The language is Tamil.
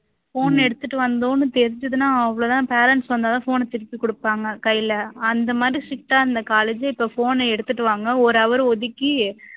phone எடுத்துட்டு வந்தோம்னு தெரிஞ்சுதுன்னா அவ்ளோ தான் parents வந்தா தான் phone அ திருப்பி கொடுப்பாங்க கையில. அந்த மாதிரி strict ஆ இருந்த college உ, இப்போ phone அ எடுத்துட்டு வாங்க ஒரு hour ஒதுக்கி